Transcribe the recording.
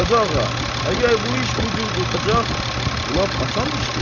Qazağa, əgər bu iş bu cür qurtaracaq, lap asan işdir.